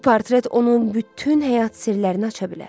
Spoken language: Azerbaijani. Bu portret onun bütün həyat sirlərini aça bilər.